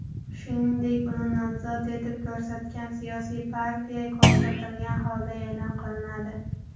shuningdek uni nomzod etib ko‘rsatgan siyosiy partiya ko‘rsatilgan holda eʼlon qilinadi.